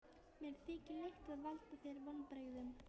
Mér þykir leitt að valda þér vonbrigðum.